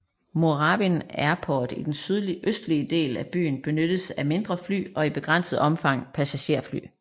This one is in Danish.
Moorabbin Airport i den sydøstlige del af byen benyttes af mindre fly og i begrænset omfang passagererfly